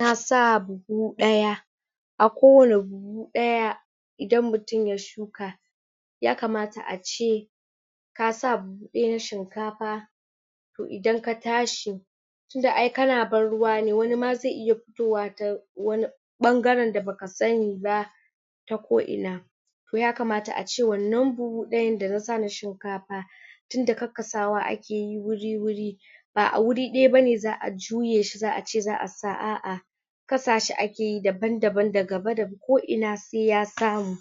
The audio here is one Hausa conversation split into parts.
na sa buhu daya a kowani buhu daya idan mutum ya shuka ya kamata ace kasa daya na shinkafa to idan ka tashi tunda ay kana ban ruwa ne wani ma zai iya fitowa ta wani bangaren da baka sani ba ta koina to ya kamata ace wannan buhu dayan da nasa na shinkafa tunda kakkasawa ake keyi wuri wuri ba a wuri daya bane zaa juyeshi zaace zaa sa a'ah kasa shi akeyi daban daban da gaba da ko'ina sai ya samu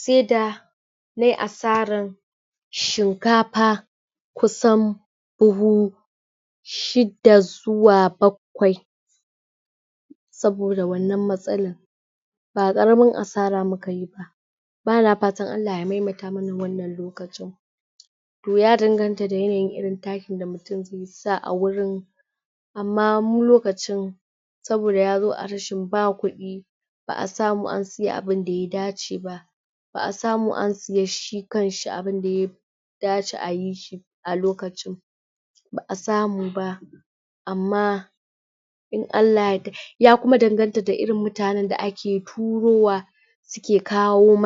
se da ne asaran shinkafa kusan buhu shida zuwa bakwai saboda wannan matsalan ba karamin asara mukayi ba bana fatan Allah ya maimaita mana wannan lokacin to ya danganta da yanayin irin takin da mutum zai sa a wurin amma mu lokacin saboda ya zo a rashin ba kudi baa samu an sai abunda ya dace ba baa samu an siya shi kanshi abunda ye dace ayi shi a lokacin baa samu ba amma in Allah ya yarda ya kuma danganta da irin mutanen da ake turowa suke kawo ma